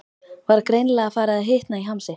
Var greinilega farið að hitna í hamsi.